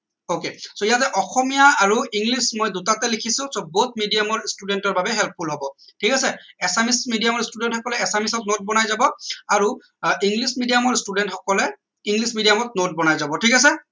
ok so ইয়াতে অসমীয়া আৰু english মই দুটাতে লিখিছো so both medium ৰ student ৰ বাবে helpful হব ঠিক আছে assamese medium ৰ student সকলে assamese ত note বনাই যাব আৰু আহ english medium ৰ student সকলে english medium ত note বনাই যাব ঠিক আছে